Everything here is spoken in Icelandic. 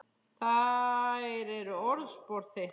Þær eru orðspor þitt.